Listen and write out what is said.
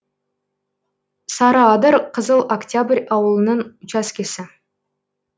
сарыадыр қызыл октябрь ауылының учаскесі